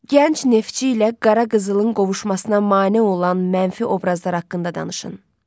Gənc Neftçi ilə Qara Qızılın qovuşmasına mane olan mənfi obrazlar haqqında danışın.